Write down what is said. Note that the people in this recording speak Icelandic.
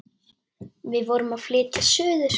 Við vorum að flytja suður.